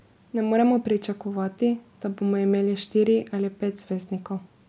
Ne moremo pričakovati, da bomo imeli štiri ali pet zvezdnikov.